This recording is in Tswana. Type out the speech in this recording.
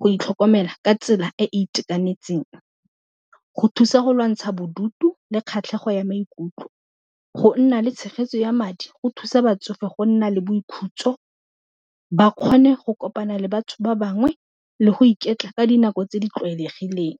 go itlhokomela ka tsela e e itekanetseng, go thusa go lwantsha bodutu le kgatlhego ya maikutlo, go nna le tshegetso ya madi go thusa batsofe go nna le boikhutso ba kgone go kopana le batho ba bangwe le go iketla ka dinako tse di tlwaelegileng.